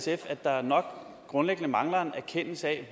jeg at der nok grundlæggende mangler en erkendelse af